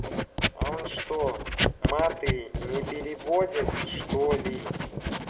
а он что маты не переводят что ли